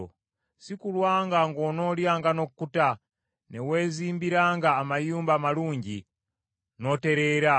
Si kulwa ng’onoolyanga n’okkuta, ne weezimbiranga amayumba amalungi, n’otereera;